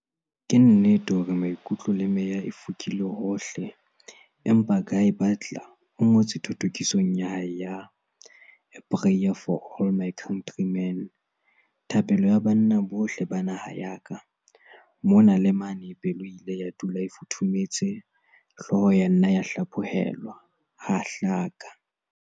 Ke nnete hore maikutlo le meya e fokile hohle empa Guy Butler o ngotse thothokisong ya hae ya 'A Prayer for all my Countrymen', Thapelo ya Banna bohle ba naha ya ka. Mona le mane pelo e ile ya dula e futhumetse, hloho ya nna ya hlaphohelwa, ha hlaka.